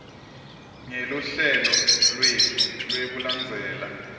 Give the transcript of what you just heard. ngeluhlelo lwetfu lwekulandzelela